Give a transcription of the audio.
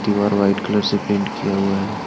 दीवार white colour से paint किया हुआ है।